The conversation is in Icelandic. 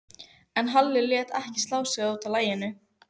En Halli lét ekki slá sig út af laginu.